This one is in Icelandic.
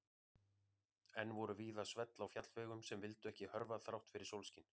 Enn voru víða svell á fjallvegum sem vildu ekki hörfa þrátt fyrir sólskin.